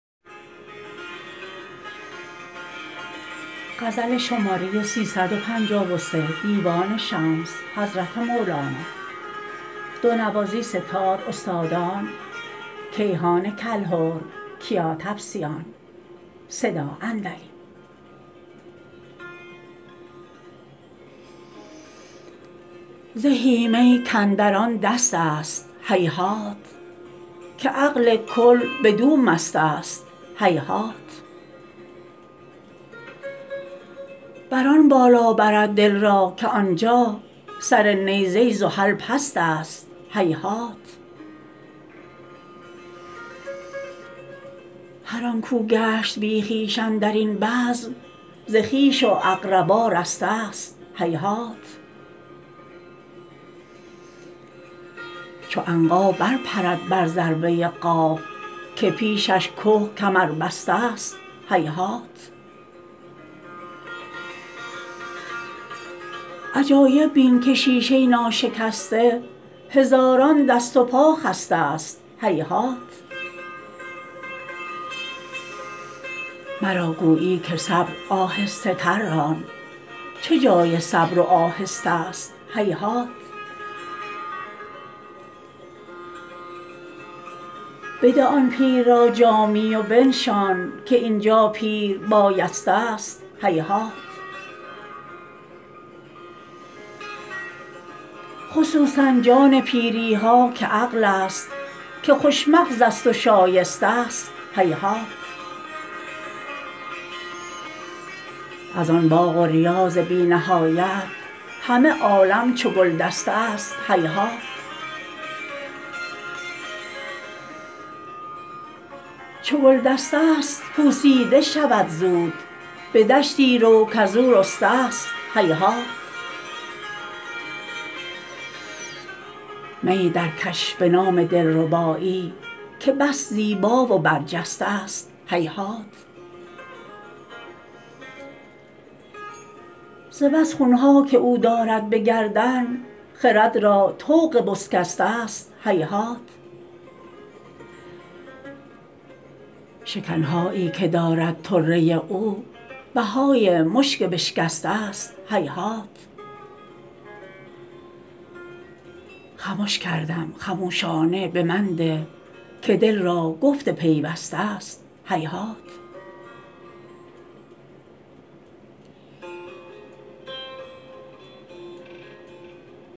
زهی می کاندر آن دستست هیهات که عقل کل بدو مستست هیهات بر آن بالا برد دل را که آن جا سر نیزه زحل پستست هیهات هر آن کو گشت بی خویش اندر این بزم ز خویش و اقربا رسته ست هیهات چو عنقا برپرد بر ذروه قاف که پیشش که کمربسته ست هیهات عجایب بین که شیشه ناشکسته هزاران دست و پا خسته ست هیهات مرا گویی که صبر آهسته تر ران چه جای صبر و آهسته ست هیهات بده آن پیر را جامی و بنشان که این جا پیر بایسته ست هیهات خصوصا جان پیری ها که عقل ست که خوش مغزست و شایسته ست هیهات از آن باغ و ریاض بی نهایت همه عالم چو گلدسته ست هیهات چو گلدسته ست پوسیده شود زود به دشتی رو کز او رسته ست هیهات میی درکش به نام دلربایی که بس زیبا و برجسته ست هیهات ز بس خون ها که او دارد به گردن خرد را طوق بسکسته ست هیهات شکن هایی که دارد طره او بهای مشک بشکسته ست هیهات خمش کردم خموشانه به من ده که دل را گفت پیوسته ست هیهات